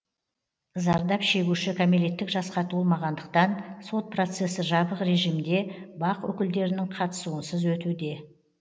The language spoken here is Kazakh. зардап шегуші кәмелеттік жасқа толмағандықтан сот процесі жабық режимде бақ өкілдерінің қатысуынсыз өтуде